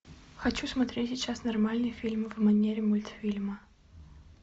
хочу смотреть сейчас нормальный фильм в манере мультфильма